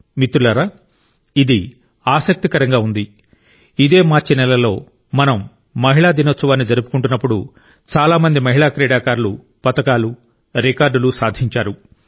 మిత్రులారా ఇది ఆసక్తికరంగా ఉంది ఇదే మార్చి నెలలో మనం మహిళా దినోత్సవాన్ని జరుపుకుంటున్నప్పుడు చాలా మంది మహిళా క్రీడాకారులు పతకాలు రికార్డులు సాధించారు